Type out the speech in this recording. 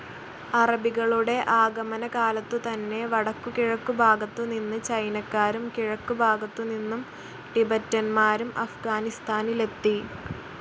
അറബികളുടേ ആഗമനകാലത്തുതന്നെ വടക്കുകിഴക്കു ഭാഗത്തു നിന്ന് ചൈനക്കാരും കിഴക്ക് ഭാഗത്തു നിന്നും ടിബെറ്റന്മാരും അഫ്ഗാനിസ്ഥാനിലെത്തി.